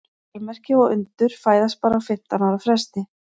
Stórmerki og undur fæðast bara á fimmtán ára fresti.